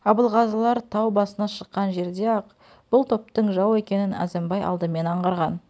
абылғазылар тау басына шыққан жерде-ақ бұл топтың жау екенін әзімбай алдымен аңғарған